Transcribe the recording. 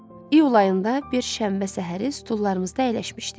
İyul ayında bir şənbə səhəri stullarımızda əyləşmişdik.